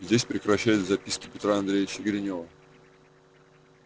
здесь прекращаются записки петра андреевича гринёва